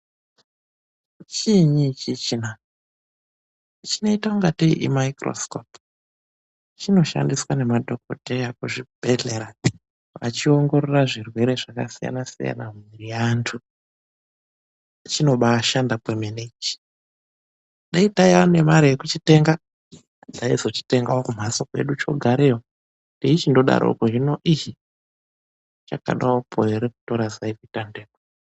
Chiinyi ichichina, chinoita ingateyi imaikhirosikopu. Chinoshandiswa ngemadhokodheya kuzvibhedhlera, vachiongorora zvirwere zvakasiyana-siyana mumwiri yeanthu. Chinobaa shanda kwemene ichi. Dai taiya nemare yekuchitenga, taizochitengawo kumhatso kwedu chogareyo teichindodaroko. Hino ihh! Chakadewopo ere kutora zai kuite ntekwe.